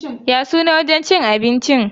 Ya sunan wajen cin abincin?